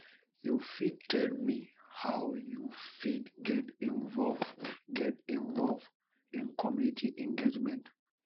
you fit tell me how you fit get involve get involve in community engagement